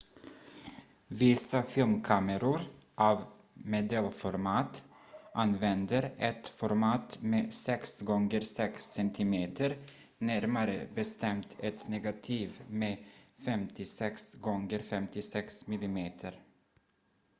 vissa filmkameror av medelformat använder ett format med 6 gånger 6 cm närmare bestämt ett negativ med 56 gånger 56 mm